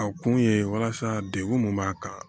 A kun ye walasa dekun mun b'a kan